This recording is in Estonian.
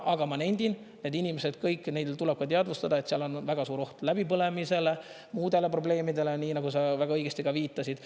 Aga ma nendin, et need inimesed kõik, neil tuleb ka teadvustada, et seal on väga suur oht läbipõlemisele, muudele probleemidele, nii nagu sa väga õigesti viitasid.